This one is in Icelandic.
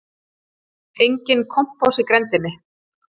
Enginn kompás í grenndinni.